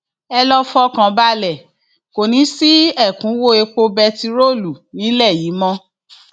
ẹ lọọ fọkàn balẹ kò ní í sí ẹkúnwọ epo bẹntiróòlù nílẹ yìí mọ